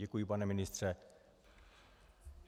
Děkuji, pane ministře.